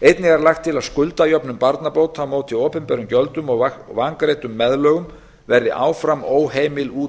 einnig er lagt til að skuldajöfnun barnabóta á móti opinberum gjöldum og vangreiddum meðlögum verði áfram óheimil út